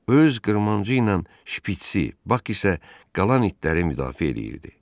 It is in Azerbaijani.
Öz qırmancığı ilə şpiçsi, Bax isə qalan itləri müdafiə eləyirdi.